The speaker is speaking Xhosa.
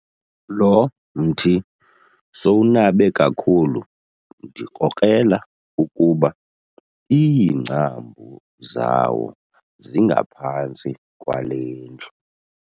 Lo mthi sowunabe kakhulu ndikrokrela ukuba iingcambu zawo zingaphantsi kwale ndlu.